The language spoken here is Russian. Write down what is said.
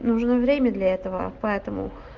нужно время для этого поэтому